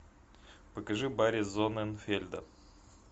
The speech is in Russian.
покажи барри зонненфельда